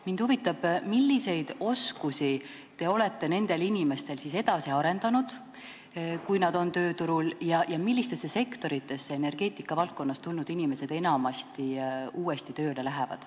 Mind huvitab, milliseid nende inimeste oskusi te olete siis edasi arendanud, kui nad on tööturul, ja millistesse sektoritesse energeetikavaldkonnast tulnud inimesed enamasti tööle lähevad.